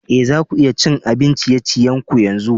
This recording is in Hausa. Eh, za ku iya cin abin ciye-ciyen ku yanzu?